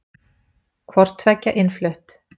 Hvort tveggja innflutt.